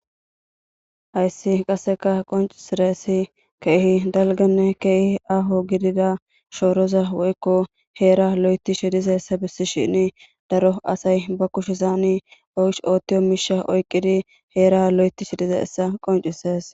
hayssi qasseka qoncisireessi keehi dalganne keehi aho gidida shooroza woykko heera lo7eti shidiza essa bissi shini daro asay ba kushesaani osh oottiyo miisha oyqqidi heera lo7eti shidiza essa qoncises